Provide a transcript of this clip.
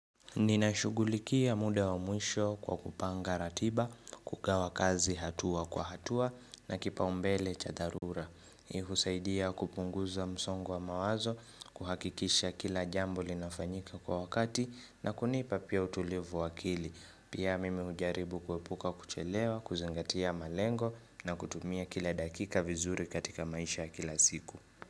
Ninashugulikia muda wa mwisho kwa kupanga ratiba, kugawa kazi hatua kwa hatua na kipaombele cha dharura. Hii husaidia kupunguza msongo wa mawazo, kuhakikisha kila jambo linafanyika kwa wakati na kunipa pia utulivu wa akili. Pia mimi hujaribu kuepuka kuchelewa, kuzingatia malengo na kutumia kila dakika vizuri katika maisha ya kila siku.